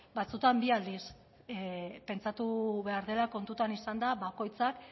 ba batzuetan bi aldiz pentsatu behar dela kontuan izanda bakoitzak